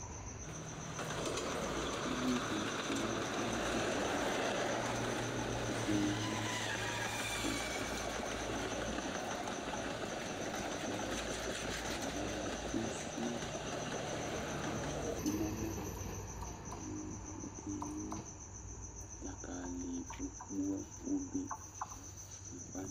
Uvi keyi ɛkʋ nʋ ʋdza li Ɔkeyi ʋta, tʋmatɩ, dzakabɔ, abʋla, isi Asʋɩa ɛkʋ nʋ ɔmɔ kʋ ɔkeyi dzakalɩ okpo obe nʋ ɛkʋ wanɩ